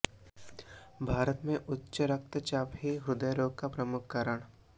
भारत में उच्च रक्तचाप है हृदय रोग का प्रमुख कारण